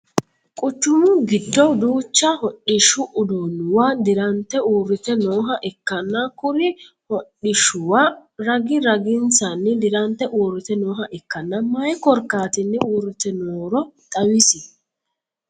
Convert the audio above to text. Quchumu gido duucha hodhishu uduunuwa dirante uurite nooha ikkanna kuri hudhishuwa ragi raginsanni dirante uurite nooha ikanna mayi korkaatinni uurite nooro xawisi?